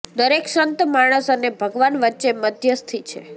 દરેક સંત માણસ અને ભગવાન વચ્ચે મધ્યસ્થી છે